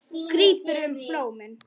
Grípur um blómin.